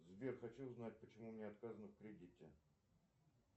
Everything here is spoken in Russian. сбер хочу узнать почему мне отказано в кредите